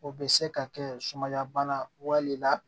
O bɛ se ka kɛ sumaya bana wale la